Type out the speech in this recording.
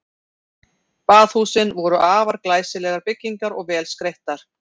Baðhúsin voru afar glæsilegar byggingar og vel skreyttar.